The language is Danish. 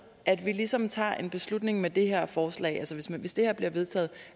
at vi ligesom tager en beslutning med det her forslag altså hvis hvis det her bliver vedtaget